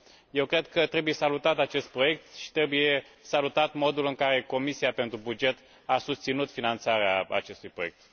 Eu cred că trebuie salutat acest proiect și trebuie salutat modul în care Comisia pentru buget a susținut finanțarea acestui proiect.